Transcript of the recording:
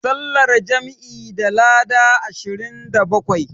Sallar jam'i tana da lada ashirin da bakwai.